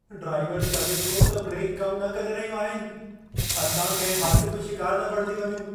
ड्राइवरु चवे थो त ब्रेक कम न करे रहियूं आहिनि। असां कंहिं हादिसे जो शिकारु न बणिजी वञूं।